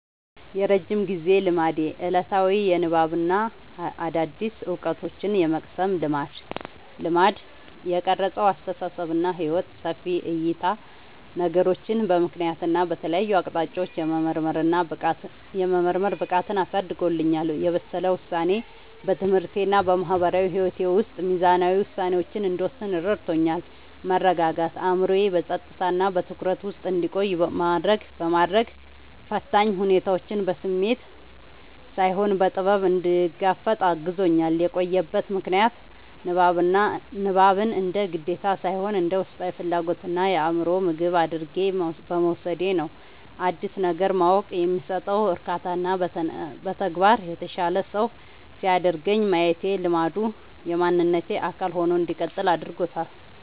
የረጅም ጊዜ ልማዴ፦ ዕለታዊ የንባብና አዳዲስ ዕውቀቶችን የመቅሰም ልማድ። የቀረጸው አስተሳሰብና ሕይወት፦ ሰፊ ዕይታ፦ ነገሮችን በምክንያትና በተለያዩ አቅጣጫዎች የመመርመር ብቃትን አሳድጎልኛል። የበሰለ ውሳኔ፦ በትምህርቴና በማህበራዊ ሕይወቴ ውስጥ ሚዛናዊ ውሳኔዎችን እንድወስን ረድቶኛል። መረጋጋት፦ አእምሮዬ በጸጥታና በትኩረት ውስጥ እንዲቆይ በማድረግ፣ ፈታኝ ሁኔታዎችን በስሜት ሳይሆን በጥበብ እንድጋፈጥ አግዞኛል። የቆየበት ምክንያት፦ ንባብን እንደ ግዴታ ሳይሆን እንደ ውስጣዊ ፍላጎትና የአእምሮ ምግብ አድርጌ በመውሰዴ ነው። አዲስ ነገር ማወቅ የሚሰጠው እርካታና በተግባር የተሻለ ሰው ሲያደርገኝ ማየቴ ልማዱ የማንነቴ አካል ሆኖ እንዲቀጥል አድርጎታል።